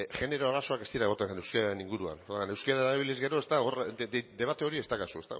genero arazoak ez dira egoten euskararen inguruan orduan euskara erabili ezkero ez dago hor debate hori ez daukazu